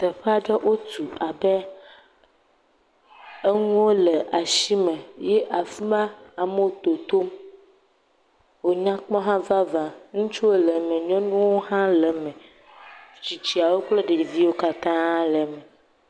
Teƒe aɖe wotu abe enuwo le asime eye afi ma amewo totom wo nyakpɔ vava, ŋutsuwo le eme nyɔnuwo le eme, tsitsiawo kple ɖeviwo katã le eme.